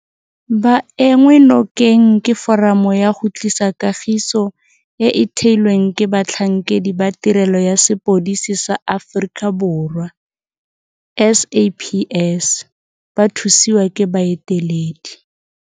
Ba enngwe nokeng ke Foramo ya go Tlisa Kagiso e e theilweng ke batlhankedi ba Tirelo ya Sepodisi sa Aforika Borwa SAPS ba thusiwa ke baeteledi